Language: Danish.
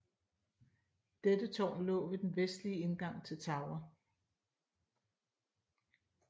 Dette tårn lå ved den vestlige indgang til Tower